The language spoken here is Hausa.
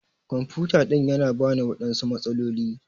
kwamfuta ɗin Yana bani waɗansu matsaloli.